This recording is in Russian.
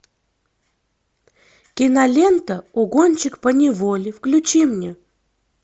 кинолента угонщик поневоле включи мне